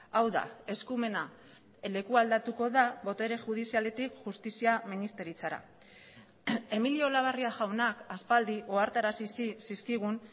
hau da eskumena lekualdatuko da botere judizialetik justizia ministeritzara emilio olabarria jaunak aspaldi ohartarazi zizkigun